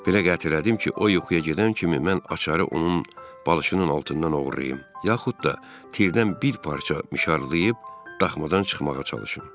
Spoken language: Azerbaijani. Belə qətiyyət elədim ki, o yuxuya gedən kimi mən açarı onun balışının altından oğurlayım, yaxud da tirdən bir parça mişarlayıb daxmadan çıxmağa çalışım.